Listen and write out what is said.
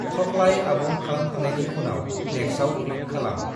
थखलाइ आबुं खालामखांनायनि उनाव Next आव क्लिक खालाम ।